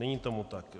Není tomu tak.